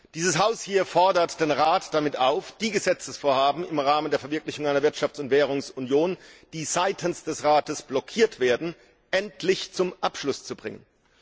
Dieses Haus fordert den Rat damit auf, die Gesetzesvorhaben im Rahmen der Verwirklichung einer Wirtschafts und Währungsunion, die seitens des Rates blockiert werden, endlich zum Abschluss zu bringen.